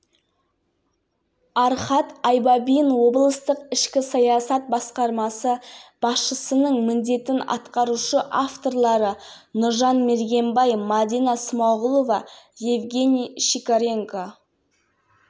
сыр өңіріндегі шалқия кенішін игеруде тиімділігі жоғары жаңа технология пайдаланылады кәсіпорында руда тік конвейерлі әдіспен өндірілмек